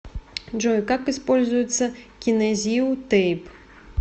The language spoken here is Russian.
джой как используется кинезио тейп